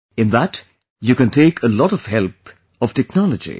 In that you can take a lot of help of technology